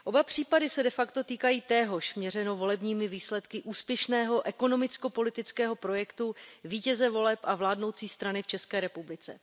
Oba případy se de facto týkají téhož měřeno volebními výsledky úspěšného ekonomicko politického projektu vítěze voleb a vládnoucí strany v České republice.